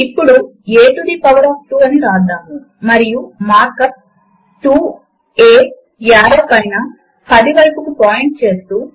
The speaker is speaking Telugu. అక్కడ all programs LibreOffice suite LibreOffice Math పైన క్లిక్ చేయండి